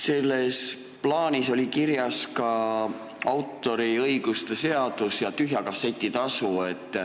Selles plaanis oli kirjas ka autoriõiguse seadus ja tühja kasseti tasu.